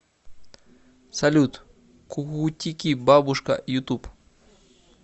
салют кукутики бабушка ютуб